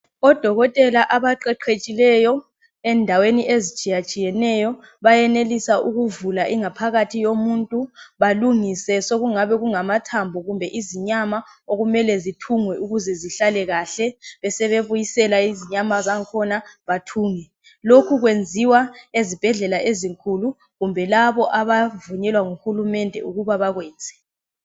Odokotela abaqeqetshileyo endaweni ezitshiyetshiyeneyo bayenelisa ukuvuka ingaphakathi yomuntu balungise sokungabe kungamathambo kumbe izinyama okumele zithungwe ukuze zihlale kahle besebebuyisela izinyama zakhona bathunge lokhu ezibhendlela ezinkulu kumbe labo abavunyelwa nguhulumende ukuba bakwenze.